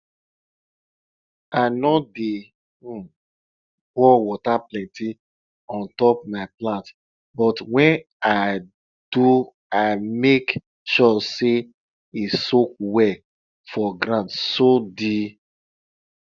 i no dey um pour water plenty on top my plants but when i do i make sure say e soak well for ground so the